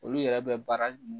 Olu yɛrɛ bɛ baara mun